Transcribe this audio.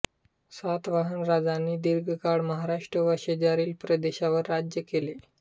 सातवाहन राजांनी दीर्घकाळ महाराष्ट्र व शेजारील प्रदेशावर राज्य केले